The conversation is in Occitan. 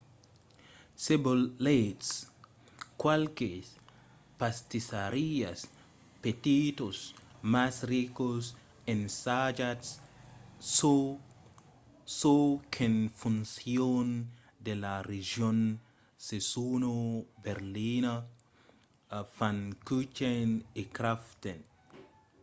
se volètz qualques pastissariás petitas mas ricas ensajatz çò qu'en foncion de la region se sona berliner pfannkuchen o krapfen